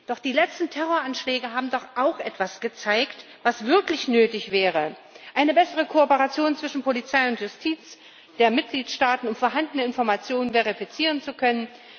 Doch die letzten Terroranschläge haben doch auch etwas gezeigt, was wirklich nötig wäre eine bessere Kooperation zwischen Polizei und Justiz der Mitgliedstaaten, um vorhandene Informationen verifizieren zu können.